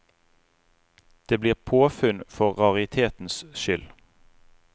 Det blir påfunn for raritetens skyld.